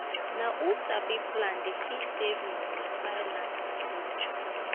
na who sabi plan dey fit save money buy land for future.